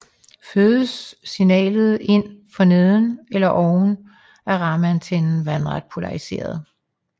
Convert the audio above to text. Fødes signalet ind for neden eller oven er rammeantennen vandret polariseret